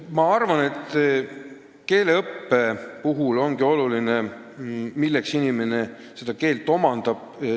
Ma arvan, et keeleõppe puhul on oluline see, miks inimene keelt omandab.